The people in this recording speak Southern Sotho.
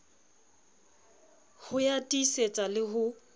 ho ya tiisetsa le ho